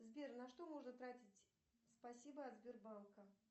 сбер на что можно тратить спасибо от сбербанка